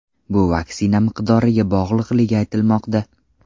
Bu vaksina miqdoriga bog‘liqligi aytilmoqda.